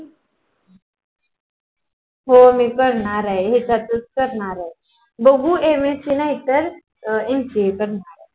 हा करणार आहे बघू MSC नाही त NCI करनार आहे.